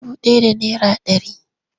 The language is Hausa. Dubu ɗaya da naira ɗari.